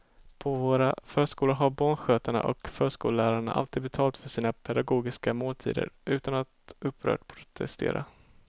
På våra förskolor har barnskötarna och förskollärarna alltid betalat för sina pedagogiska måltider utan att upprört protestera.